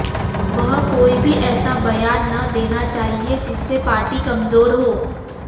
वह कोई भी ऐसा बयान न देना चाहिए जिससे पार्टी कमजोर हो